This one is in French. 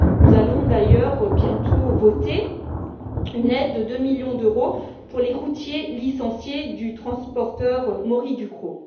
Nous allons d'ailleurs bientôt voter une aide de deux millions d'euros pour les routiers licenciés du transporteur Mory Ducros.